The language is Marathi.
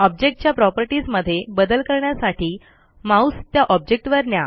ऑब्जेक्टच्या प्रॉपर्टीज मध्ये बदल करण्यासाठी माऊस त्या ऑब्जेक्टवर न्या